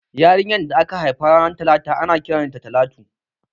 Yarinyar da aka haifa ranar talata ana kiran ta Talatu